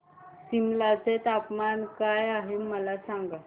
सिमला चे तापमान काय आहे मला सांगा